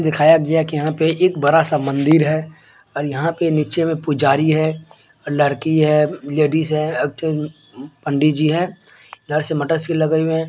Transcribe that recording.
दिखाया गया कि यहां पे एक बड़ा-सा मंदिर है और यहां पे नीचे में पुजारी है और लड़की है लेडिस है पंडित जी है इधर से मोटरसाइकिल लगे हुई है।